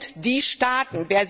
Wer sind die Staaten?